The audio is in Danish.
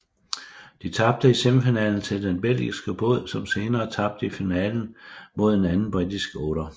De tabte i semifinalen til den belgiske båd som senere tabte i finalen mod en anden britisk otter